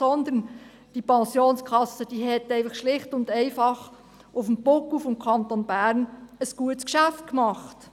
Sondern die Pensionskasse hat schlicht und einfach auf dem Buckel des Kantons Bern ein gutes Geschäft gemacht.